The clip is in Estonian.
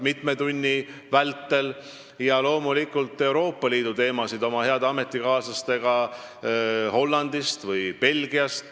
Loomulikult sain arutada Euroopa Liidu teemasid oma heade ametikaaslastega Hollandist ja Belgiast.